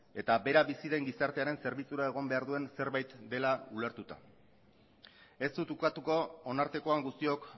eta bera bizi den gizartearen zerbitzura egon behar duen zerbait dela ulertuta ez dut ukatuko honartekoan guztiok